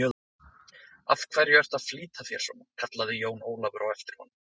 Af hverju ertu að flýta þér svona, kallaði Jón Ólafur á eftir honum.